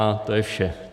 A to je vše.